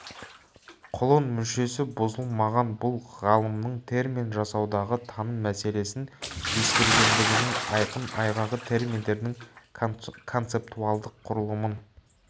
құлын мүшесі бұзылмаған бұл ғалымның термин жасаудағы таным мәселесін ескергендігінің айқын айғағы терминдердің концептуалдық құрылымын